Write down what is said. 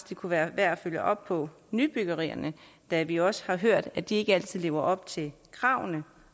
det kunne være værd at følge op på nybyggerierne da vi også har hørt at de ikke altid lever op til kravene